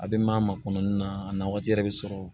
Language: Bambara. A bɛ maa ma makɔnɔni na a na waati yɛrɛ bɛ sɔrɔ